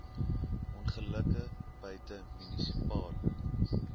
ongelukke buite munisipale